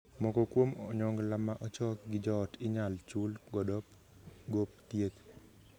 Moko kuom onyongla ma ochok gi joot inyal chul godo gop thieth.